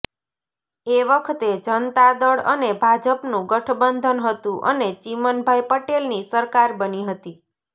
એ વખતે જનતા દળ અને ભાજપનું ગઠબંધન હતું અને ચીમનભાઈ પટેલની સરકાર બની હતી